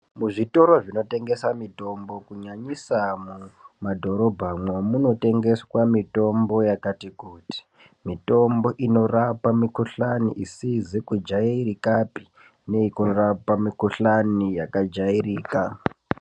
Muzvitoro zvinotengesa mutombo kunyanyisa mumadhorobhamwo kunotengeswa mitombo yakati kuti, mitombo inorapa mikuhlani isizi kujairikapi nekurapa mikuhlani yakajairika.